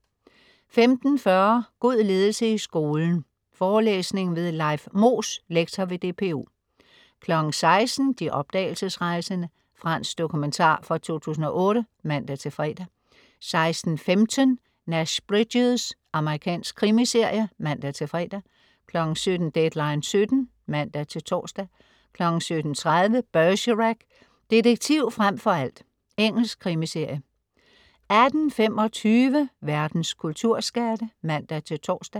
15.40 God ledelse i skolen. Forelæsning ved Leif Moos, lektor ved DPU 16.00 De opdagelsesrejsende. Fransk dokumentar fra 2008 (man-fre) 16.15 Nash Bridges. Amerikansk krimiserie (man-fre) 17.00 Deadline 17:00 (man-tors) 17.30 Bergerac: Detektiv frem for alt. Engelsk krimiserie 18.25 Verdens kulturskatte (man-tors)